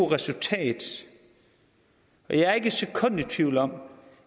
resultat og jeg er ikke et sekund i tvivl om